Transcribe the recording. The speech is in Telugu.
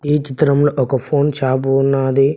ఈ చిత్రంలో ఒక ఫోన్ షాపు ఉన్నది.